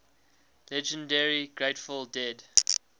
legendary grateful dead